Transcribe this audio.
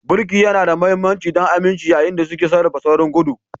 Birki yana da mahimmanci don aminci yayin da suke sarrafa saurin gudu.